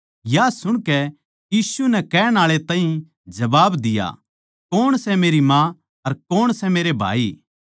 या सुणकै यीशु नै कहण आळे ताहीं जबाब दिया कौण सै मेरी माँ अर कौण सै मेरे भाई